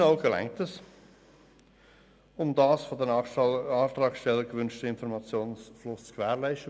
Aus unserer Sicht genügt das, um den von den Antragstellern gewünschte Informationsfluss zu gewährleisten.